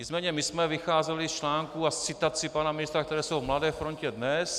Nicméně my jsme vycházeli z článků a citací pana ministra, které jsou v Mladé frontě DNES.